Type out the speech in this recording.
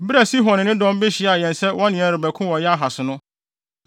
Bere a Sihon ne ne dɔm behyiaa yɛn sɛ wɔne yɛn rebɛko wɔ Yahas no,